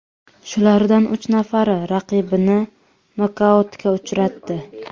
Shulardan uch nafari raqibini nokautga uchratdi.